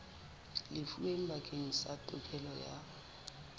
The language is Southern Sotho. lefuweng bakeng sa tokelo ya